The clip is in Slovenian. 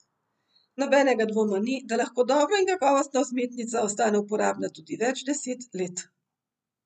Nobenega dvoma ni, da lahko dobra in kakovostna vzmetnica ostane uporabna tudi več deset let.